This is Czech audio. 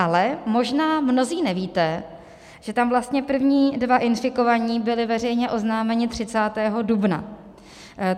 Ale možná mnozí nevíte, že tam vlastně první dva infikovaní byli veřejně oznámeni 30. dubna.